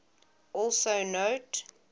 also note